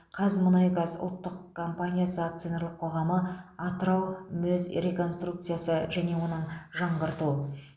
қазмұнайгаз ұлттық компаниясы акционерлік қоғамы атырау мөз реконструкциясы және оны жаңғырту